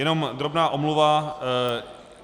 Jenom drobná omluva.